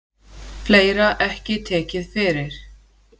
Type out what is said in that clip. Fleira ekki tekið fyrir.